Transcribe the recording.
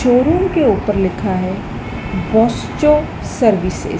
showroom के ऊपर लिखा है बोस्टो सर्विसेज --